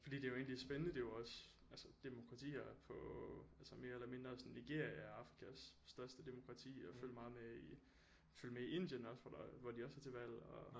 Fordi det er jo egentlig spændende det er jo også altså demokratier på altså mere eller mindre sådan Nigeria er Afrikas største demokrati og jeg følger meget med i følger med i Indien også hvor der hvor de også er til valg og